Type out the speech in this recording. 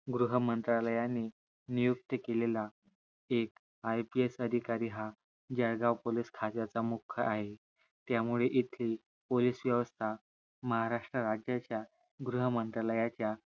गृह मंत्र्यालायाने नियुक्त केलेला एक IPS अधिकरी हा जळगाव पोलीस खात्याचा मुख्य आहे त्यामुळे येथील पोलीस व्यवस्था महाराष्ट्र राजाच्या गृह मंत्र्यालायच्या